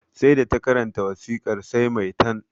Sai da ta karanta wasikar sai maitan